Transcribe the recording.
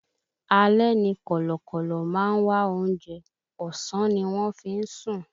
Alẹ́ ni kọ̀lọ̀kọ̀lọ̀ máa ń wá oúnjẹ, ọ̀sán ni wọ́n fí ń sùn